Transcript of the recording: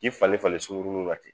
K'i falen falen sugurunin na ten